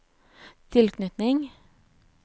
tilknytning